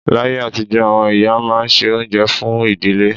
Láyé àtijọ́, àwọn ìyá máa ń se oúnjẹ fún ìdílé